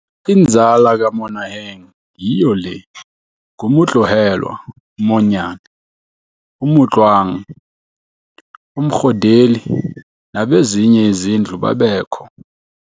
Inzala kaMonaheng yiyo le, nguMotlohelwa, uMonyane, uMotloang, uMgodeli, nabezinye izindlu babekho.